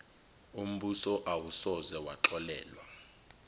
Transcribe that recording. umbuso awusoze waxolelwa